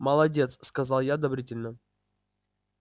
молодец сказал я одобрительно